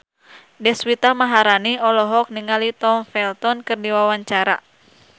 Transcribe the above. Deswita Maharani olohok ningali Tom Felton keur diwawancara